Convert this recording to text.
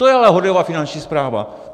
To je ale horlivá Finanční správa!